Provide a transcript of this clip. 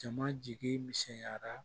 Jama jigi misɛnyara